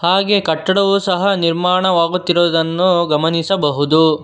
ಹಾಗೆಯೇ ಕಟ್ಟವು ಸಹ ನಿರ್ಮನವಾಗುತ್ತಿರುವುದನು ಗಮನಿಸಬಹುದು.